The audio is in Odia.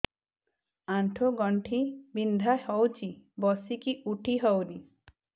ଆଣ୍ଠୁ ଗଣ୍ଠି ବିନ୍ଧା ହଉଚି ବସିକି ଉଠି ହଉନି